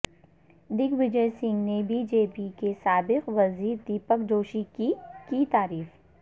دگ وجے سنگھ نے B J P کے سابق وزیر دیپک جوشی کی کی تعریف